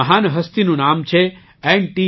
તે મહાન હસ્તીનું નામ છે એન